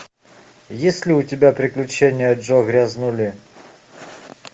есть ли у тебя приключения джо грязнули